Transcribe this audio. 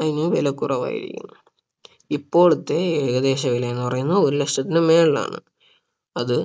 അതിന് വില കുറവായിരിക്കും ഇപ്പോളത്തെ ഏകദേശ വില എന്ന് പറയുന്നത് ഒരു ലക്ഷത്തിന് മേലെയാണ് അത്